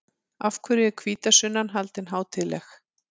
Af hverju er hvítasunnan haldin hátíðleg?